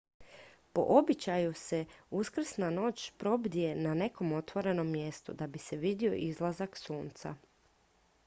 po običaju se uskrsna noć probdije na nekom otvorenom mjestu da bi se vidio izlazak sunca